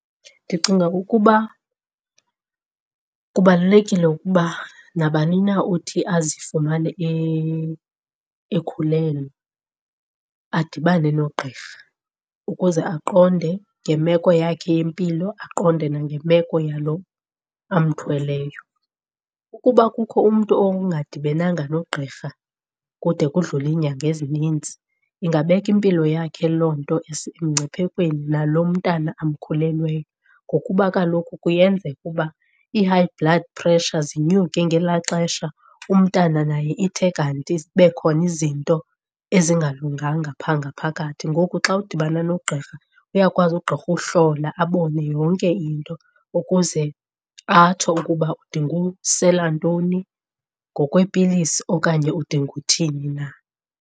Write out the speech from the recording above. Ndicinga ukuba kubalulekile ukuba nabani na uthi azifumane ekhulelwe adibane nogqirha ukuze aqonde ngemeko yakhe yempilo aqonde nangemeko yalo amthweleyo. Ukuba kukho umntu ongadibenanga nogqirha kude kudlule iinyanga ezininzi ingabeka impilo yakhe loo nto emngciphekweni nalo mntana amkhulelweyo. Ngokuba kaloku kuyenzeka uba ii-high blood pressure zinyuke ngelaa xesha, umntana naye ithe kanti ibe khona izinto ezingalunganga phaa ngaphakathi. Ngoku xa udibana nogqirha uyakwazi ugqirha uhlola abone yonke into ukuze atsho ukuba udinga usela ntoni ngokweepilisi okanye udinga uthini na.